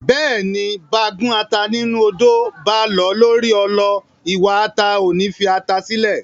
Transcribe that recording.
Bẹ́ẹ̀ni, báa gún ata ńnú odó, báa lọ̀ ọ́ lórí ọlọ, iwa ata ò ní fi ata sílẹ̀.